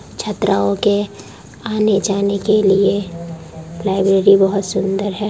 छात्राओं के आने-जाने के लिए लाइब्रेरी बहुत सुंदर है।